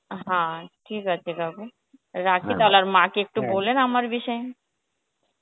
হ্যাঁ ঠিক আছে কাকু, রাখি আর মা কে একটু আমার বিষয়